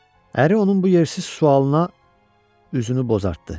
Əri onun bu yersiz sualına üzünü bozartdı.